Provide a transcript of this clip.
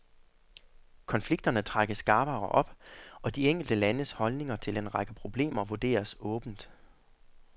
Konflikterne trækkes skarpere op, og de enkelte landes holdninger til en række problemer vurderes åbent.